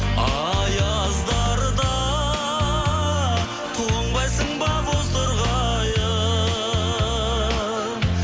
аяздарда тоңбайсың ба бозторғайым